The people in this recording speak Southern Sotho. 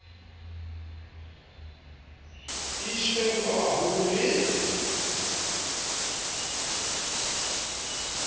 iswe ho ba baholo le